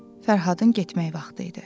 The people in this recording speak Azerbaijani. Fərhadın getmək vaxtı idi.